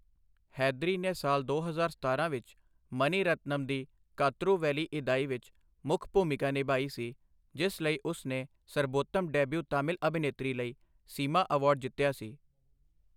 ਹੈਦਰੀ ਨੇ ਸਾਲ ਦੋ ਹਜ਼ਾਰ ਸਤਾਰਾਂ ਵਿੱਚ, ਮਨੀ ਰਤਨਮ ਦੀ ਕਾਤਰੂ ਵੇਲੀਇਦਾਈ ਵਿੱਚ ਮੁੱਖ ਭੂਮਿਕਾ ਨਿਭਾਈ ਸੀ, ਜਿਸ ਲਈ ਉਸ ਨੇ ਸਰਬੋਤਮ ਡੈਬਿਊ ਤਾਮਿਲ ਅਭਿਨੇਤਰੀ ਲਈ ਸੀਮਾ ਅਵਾਰਡ ਜਿੱਤਿਆ ਸੀ।